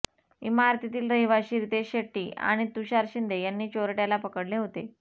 इमारतीतील रहिवाशी नितेश शेट्टी आणि तुषार शिंदे यांनी चोरट्याला पकडले होते